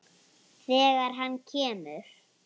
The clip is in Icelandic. Þegar hann kemur.